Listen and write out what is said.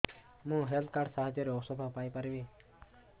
ମୁଁ health card ସାହାଯ୍ୟରେ ଔଷଧ ପାଇ ପାରିବି